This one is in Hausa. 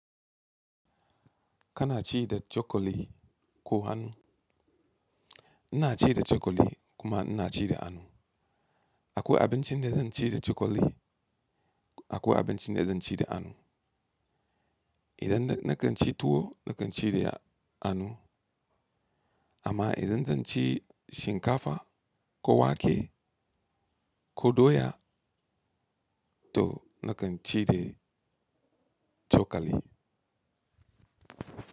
Kana ci da cokali ko hannu? Ina ci da cokali kuma ina ci da hannu. Akwai abincin da zan ci da cokali, akwai abincin da zan ci da anu. Idan na kan ci tuwo na kan ci da hannu amma idan zan ci shinkafa ko wake ko doya to na kan ci da cokali.